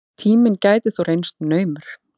Tíminn gæti þó reynst naumur.